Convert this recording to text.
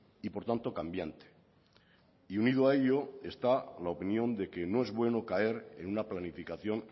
y por tanto cambiante y unido a ello está la opinión de que no es bueno caer en una planificación